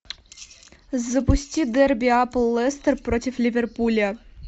запусти дерби апл лестер против ливерпуля